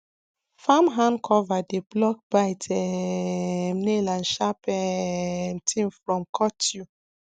farm hand cover dey block bite um nail and sharp um tin from cut you